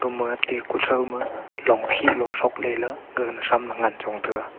ama te kutha ma long khih lo tho lela gaga nawsam la ngan chong taga.